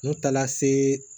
N taara se